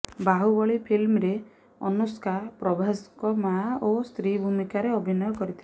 ବାହୁବଳୀ ଫିଲ୍ମରେ ଅନୁଷ୍କା ପ୍ରଭାସଙ୍କ ମା ଓ ସ୍ତ୍ରୀ ଭୁମିକାରେ ଅଭିନୟ କରିଥିଲେ